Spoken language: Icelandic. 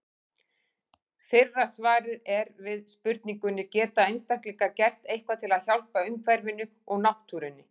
Fyrra svarið er við spurningunni Geta einstaklingar gert eitthvað til að hjálpa umhverfinu og náttúrunni?